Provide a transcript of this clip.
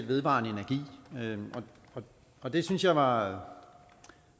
vedvarende energi og det synes jeg var